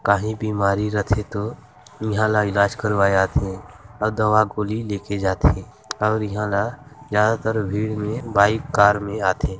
काहीं बीमारी रथे तो इहा ला इलाज करवाय आथे आउ दवा गोली लेके जाथे और इहा ला ज्यादातर भीड़ में बाइक कार में आथे--